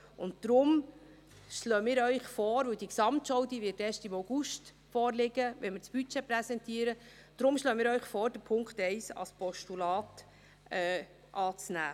Deswegen schlagen wir Ihnen vor – diese Gesamtschau wird erst im August vorliegen, wenn wir das Budget präsentieren –, den Punkt 1 als Postulat anzunehmen.